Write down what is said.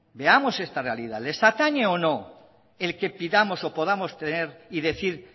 veamos esta realidad les atañe o no el que pidamos o podamos tener y decir